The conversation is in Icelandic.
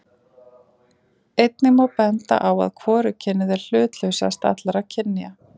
Einnig má benda á að hvorugkynið er hlutlausast allra kynja.